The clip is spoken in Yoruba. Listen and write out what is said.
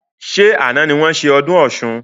Ṣé àna ni wọn ṣe ọdún Ọ̀sun?